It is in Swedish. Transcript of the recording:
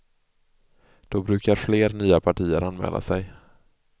Då brukar fler nya partier anmäla sig.